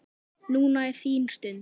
Núna er þín stund.